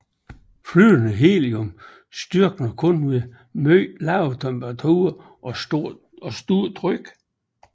Flydende helium størkner kun ved meget lave temperaturerer og stort tryk